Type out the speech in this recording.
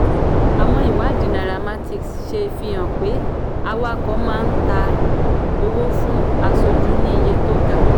àwọn ìwádìí nairametrics ṣe fi hàn pé awakọ̀ máa ta owó fún aṣojú ní iye tó ga.